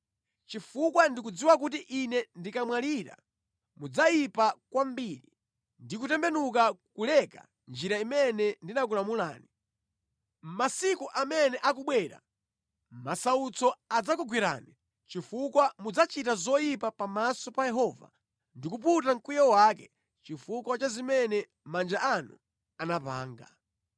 Chifukwa ndikudziwa kuti ine ndikamwalira mudzayipa kwambiri ndi kutembenuka kuleka njira imene ndinakulamulani. Masiku amene akubwera, masautso adzakugwerani chifukwa mudzachita zoyipa pamaso pa Yehova ndi kuputa mkwiyo wake chifukwa cha zimene manja anu anapanga.”